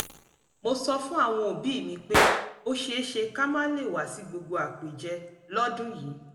mo sọ fún àwọn òbí mi pé ó ṣeéṣe ká má lè wá sí gbogbo àpèjẹ lọ́dún yìí